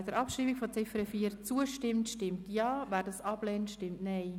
Wer der Abschreibung der Ziffer 4 zustimmt, stimmt Ja, wer dies ablehnt, stimmt Nein.